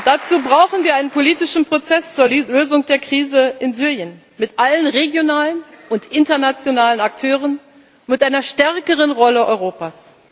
Dazu brauchen wir einen politischen Prozess zur Lösung der Krise in Syrien mit allen regionalen und internationalen Akteuren, mit einer stärkeren Rolle Europas.